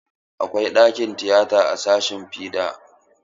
Akwai ɗakin tiyata a sashin fiɗa.